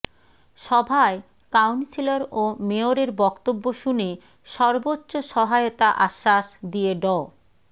সভায় কাউন্সিলর ও মেয়রের বক্তব্য শুনে সর্বোচ্চ সহায়তা আশ্বাস দিয়ে ড